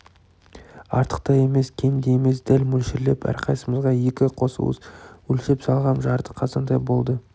артық та емес кем де емес дәл мөлшерлеп әрқайсымызға екі қос уыс өлшеп салғам жарты қазандай болды